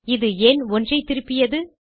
இது ஏன் 1 ஐ திருப்பியது